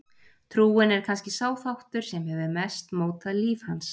Trúin er kannski sá þáttur sem hefur mest mótað líf hans.